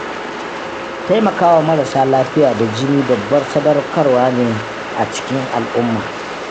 Taimakawa marasa lafiya da jini babbar sadaukarwa ce a cikin al'umma.